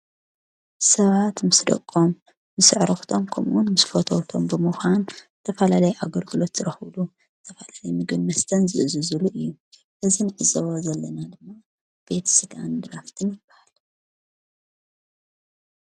ሰባት ምስ ደቆም ምስ ኣዕርኽቶም ከም'ውን ምስ ፈተውቶም ብምዃን ዝተፈላላዩ ኣገልግሎት ዝረክብሉ ዝተፈላለየ ምግብን ምስተን ዝእዝዙሉ እዩ። እዚ ንዕዘቦ ዘለና ድማ ቤት ስጋን ድራፍትን ይባሃል።